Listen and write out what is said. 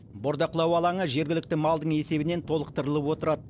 бордақылау алаңы жергілікті малдың есебінен толықтырылып отырады